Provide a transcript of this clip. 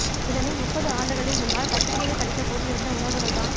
இதனை முப்பது ஆண்டுகளின் முன்னால் பத்திரிகையில் படித்தபோது இருந்த உணர்வுகள்தான்